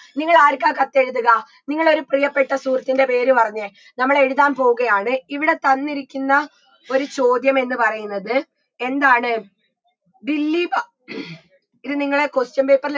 നിങ്ങളാരിക്കാ കത്തെഴുതുക നിങ്ങളൊരു പ്രിയപ്പെട്ട സുഹൃത്തിൻറെ പേരു പറഞ്ഞേ നമ്മളെഴുതാൻ പോവുകയാണ് ഇവിടെ തന്നിരിക്കുന്ന ഒരു ചോദ്യമെന്ന് പറയുന്നത് എന്താണ് ദില്ലീപ ഇത് നിങ്ങളെ question paper ല്